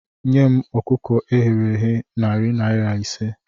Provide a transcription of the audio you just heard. Nye m ọkụkọ eghere eghe narị naira ise